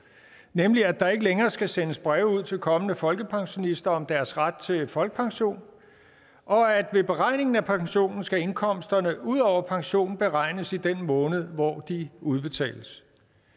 nemlig at der ikke længere skal sendes breve ud til kommende folkepensionister om deres ret til folkepension og at ved beregningen af pensionen skal indkomsterne ud over pensionen beregnes i den måned hvor de udbetales